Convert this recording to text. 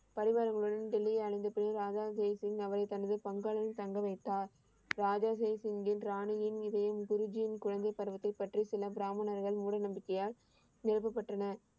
பரிவாரங்களுடன் டெல்லியை அடைந்தப் பின் ராஜா தேசிங் அவை தனது பங்களாவில் தங்க வைத்தார். ராஜா தேசிங்கின் ராணியின் இதயம் குருஜியின் குழந்தை பருவத்தைப் பற்றி சில பிராமணர்கள் மூட நம்பிக்கையால், நிரப்பப்பட்டனர்.